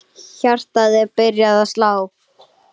Hjartað er byrjað að slá.